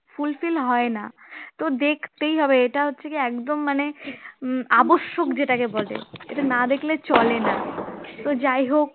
fulfill হয় না তো দেখতেই হবে এটা হচ্ছে একদম মানে উম আবশ্যক যেটাকে বলে এটা না দেখলে চলে না তো যাই হোক